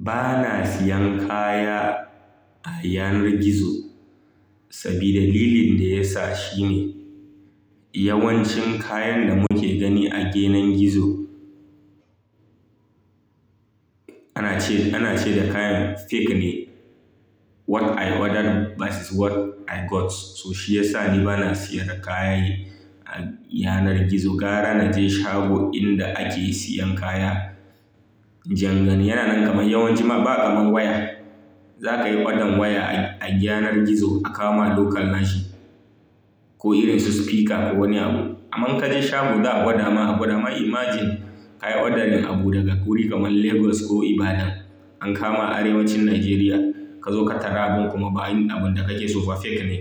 Ba na siyan kaya a yanar gizo saboda dalilin da ya sa shine, yawancin kayan da muke gani a genen gizo ana ce, ana ce da kayan fake ne. What I ordered bises what I got. So shiyasa ni bana sayar da kayane a yanar gizo. Gara na je shago inda ake siyan kaya. Jangon yana nan kamar yawancin ma ba'a mun waya. Za kayi ƙodan waya a, a yanar gizo a kawo mana local nashi, ko irin su speaker ko wani abu. Amman kake shago za'a gwada ma, a gwada ma. Imagine kayi ordering abu daga wuri kamar Lagos ko Ibadan an kama arewacin Najeriya kazo ka tara abin kuma bayin abun da kake so fake ne.